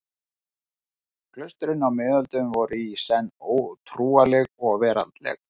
Klaustrin á miðöldum voru í senn trúarleg og veraldleg.